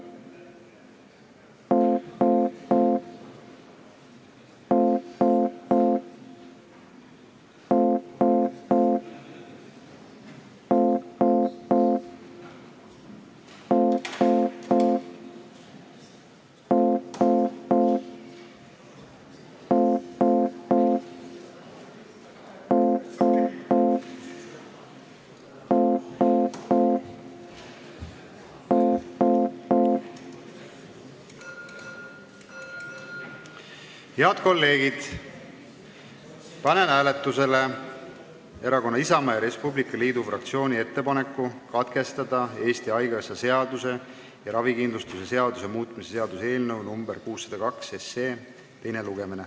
Head kolleegid, panen hääletusele Erakonna Isamaa ja Res Publica Liidu fraktsiooni ettepaneku katkestada Eesti Haigekassa seaduse ja ravikindlustuse seaduse muutmise seaduse eelnõu 602 teine lugemine.